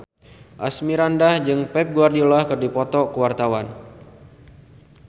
Asmirandah jeung Pep Guardiola keur dipoto ku wartawan